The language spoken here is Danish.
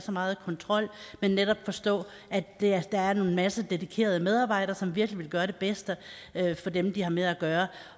så meget kontrol men netop forstå at der er en masse dedikerede medarbejdere som virkelig vil gøre det bedste for dem de har med at gøre